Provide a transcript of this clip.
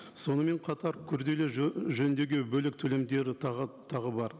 сонымен қатар күрделі жөндеуге бөлек төлемдері тағы тағы бар